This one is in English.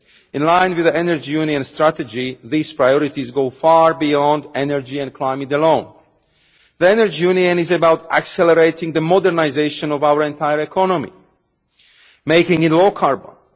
In line with the Energy Union Strategy, these priorities go far beyond energy and climate alone. The Energy Union is about accelerating the modernisation of our entire economy making it low carbon